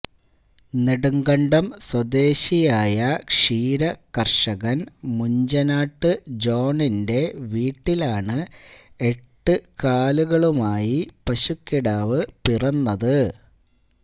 നെടുങ്കണ്ടം സ്വദേശിയായ ക്ഷീര കര്ഷകന് മുഞ്ചനാട്ട് ജോണിന്റെ വീട്ടിലാണ് എട്ട് കാലുകളുമായി പശുക്കിടാവ് പിറന്നത്